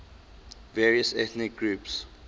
various ethnic groups